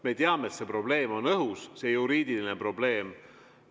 Me teame, et see probleem on õhus, see juriidiline probleem.